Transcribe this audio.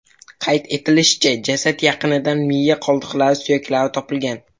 Qayd etilishicha, jasad yaqinidan miya qoldiqlari, suyaklari topilgan.